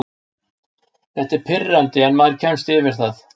Þetta er pirrandi en maður kemst yfir það.